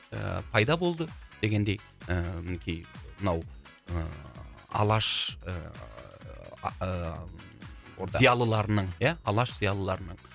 ыыы пайда болды дегендей ыыы мінекей мынау ыыы алаш ыыы а ыыы зиялыларының ия алаш зиялыларының